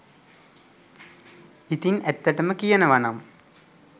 ඉතින් ඇත්තටම කියනවනම්